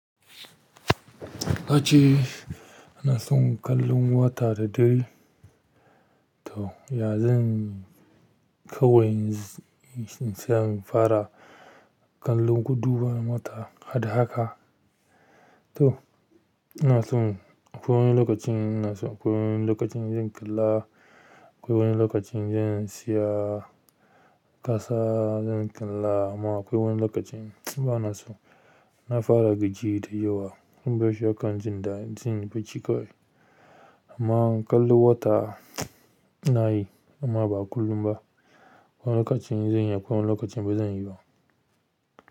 Aji ina son kallon wata da dare. To, ya zan kawai in shian fara kallon guduwa na wata, haddaka. To ina son akwai wani lokacin ina so akwai wani lokacin zan kalla, akwai wani lokacin zan siya tasa zan kalla amma akwai wani lokacin bana so. Na fara gajiya da yawa. Sun bashi akan jin da jin bacika. Amma kallon wata nayi amma ba kullum ba. Akwai lokacin zan yi akwai lokacin bazan yi ba.